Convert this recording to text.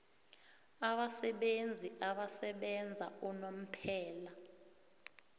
abasebenzi abasebenza unomphela